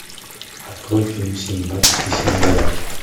открой фильм синдбад и семь галактик